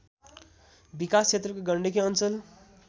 विकासक्षेत्रको गण्डकी अञ्चल